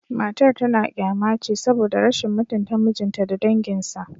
Matar tana kyama ce saboda rashin mutunta mijinta da danginsa